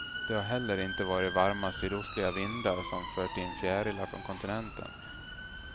Det har heller inte varit varma sydostliga vindar som fört in fjärilar från kontinenten.